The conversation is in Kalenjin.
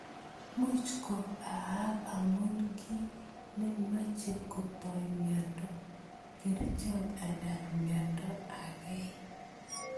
Much ko aak amu kii ne meche kutoi miondo, kerchot anan miondo agei.